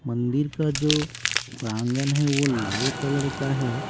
मंदिर का जो प्रांगण है वो लाल कलर का है।